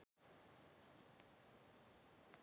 Hann var auðvitað settur í þá deild.